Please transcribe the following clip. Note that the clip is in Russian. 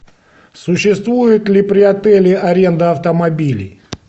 существует ли при отеле аренда автомобилей